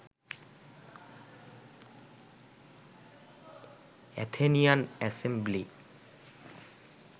Athenian assembly